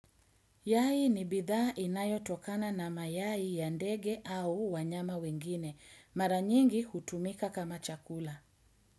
Yai ni bidhaa inayotokana na mayai ya ndege au wanyama wengine. Mara nyingi, hutumika kama chakula.